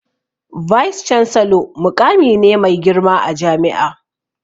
"Vice chancellor'' muƙami ne mai girma a jami'a